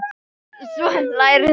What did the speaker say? Svo hlærðu.